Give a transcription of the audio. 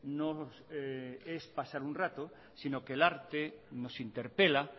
no es pasar un rato sino que el arte nos interpela